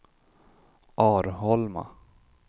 Arholma